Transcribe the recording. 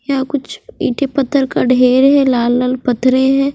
यहा कुच्छ इटे पत्थर का ढेर है लाल लाल पथरे है।